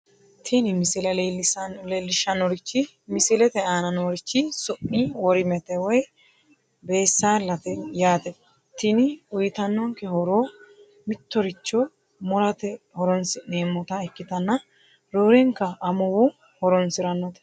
mini misile leellishshannorichi misilete aana noorichi su'mi worimete (beessaallate) yaate tini uyiitannonke horo mittoricho murate horoonsi'neemmota ikkitanna roorenka amuwu horoonsirannote.